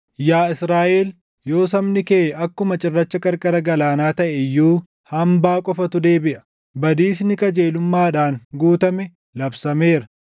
Yaa Israaʼel, yoo sabni kee akkuma cirracha qarqara galaanaa taʼe iyyuu, // hambaa qofatu deebiʼa. Badiisni qajeelummaadhaan guutame labsameera.